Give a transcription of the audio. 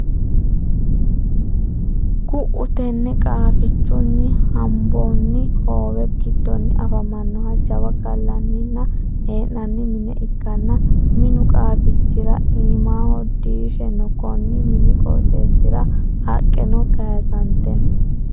Ku"u tenne qaafichunni hombonni hoowe giddonni afamannoha jawa gallanninna hee'nanni mine ikkanna, minu qaafichira iimahono diishe no. Konni mini qooxessira haqqeno kayisante no.